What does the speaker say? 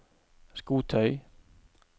skotøy